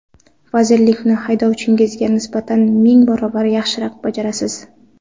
Vazirlikni haydovchingizga nisbatan ming barobar yaxshiroq bajarasiz.